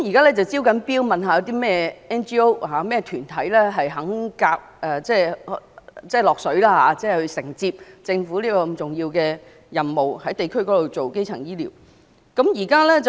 現正招標看看有甚麼 NGO 或團體願意承接政府這項重要的任務，在地區推行基層醫療服務。